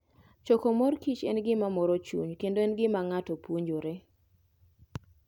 Choko mor kich en gima moro chuny kendo en gima ng'ato puonjore.